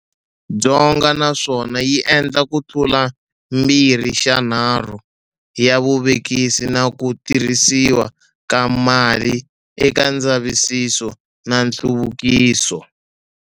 Dzonga naswona yi endla kutlula mbirhixanharhu ya vuvekisi na ku tirhisiwa ka mali eka ndzavisiso na nhluvukiso.